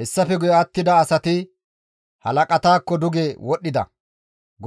«Hessafe guye attida asati halaqataakko duge wodhdhida.